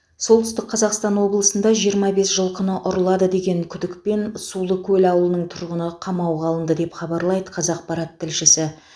солтүстік қазақстан облысында жиырма бес жылқыны ұрлады деген күдікпен сулыкөл ауылының тұрғыны қамауға алынды деп хабарлайды қазақпарат тілшісі